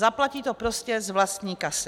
Zaplatí to prostě z vlastní kasy.